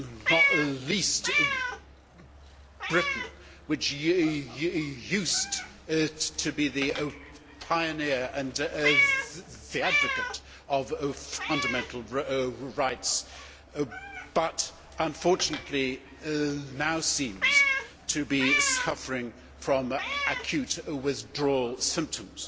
not least Britain, which used to be the pioneer and the advocate of fundamental rights but unfortunately now seems to be suffering from acute withdrawal symptoms.